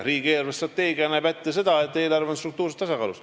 Riigi eelarvestrateegia näeb ette seda, et eelarve on struktuurses tasakaalus.